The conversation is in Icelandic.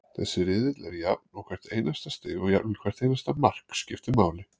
Þessi riðill er jafn og hvert einasta stig og jafnvel hvert einasta mark, skiptir máli.